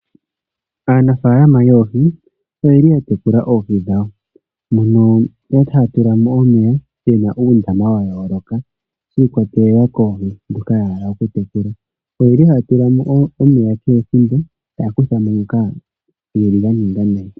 Aanafalama yoohi oyeli ya tekula oohi dhawo mono yeli haya tula mo omeya muna uundama wa yooloka shi ikwatelela koohi dhoka ya hala okutekuala oyeli haya tula mo omeya kehe ethimbo taya kutha mo nhoka ga ninga nayi .